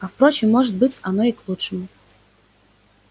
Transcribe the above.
а впрочем может быть оно и к лучшему